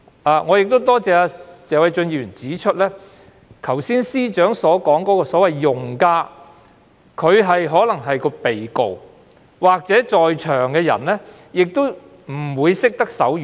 我亦要感謝謝偉俊議員指出，司長剛才所說的所謂用家，即被告或在庭人士，都可能不懂手語。